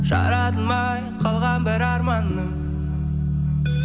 жаратылмай қалған бір арманның